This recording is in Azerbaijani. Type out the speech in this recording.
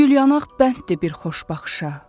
O gülyanax bənddir bir xoş baxışa.